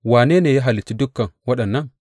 Wane ne ya halicce dukan waɗannan?